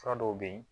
Fura dɔw bɛ yen